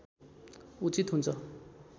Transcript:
उचित हुन्छ